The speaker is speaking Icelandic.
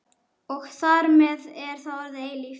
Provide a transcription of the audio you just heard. Og þar með er það orðið eilíft.